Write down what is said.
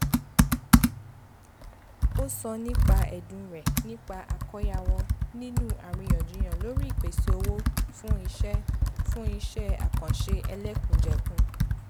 ó sọ nípa ẹ̀dùn rẹ̀ nípa àkóyawọ̀ nínú àríyànjiyàn lórí ìpèsè owó fún ise fún ise àkànṣe ẹlẹ́kùnjẹkùn